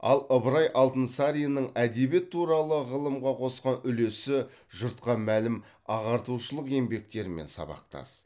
ал ыбырай алтынсаринның әдебиет туралы ғылымға қосқан үлесі жұртқа мәлім ағартушылық еңбектерімен сабақтас